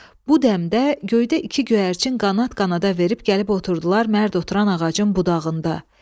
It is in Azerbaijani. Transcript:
Bu dəmdə göydə iki göyərçin qanad-qanada verib gəlib oturdular mərd oturan ağacın budağında.